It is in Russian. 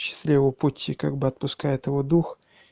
счастливого пути как бы отпускает его дух